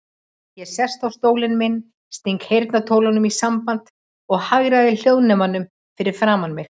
Ég sest á stólinn minn, sting heyrnartólunum í sambandi og hagræði hljóðnemanum fyrir framan mig.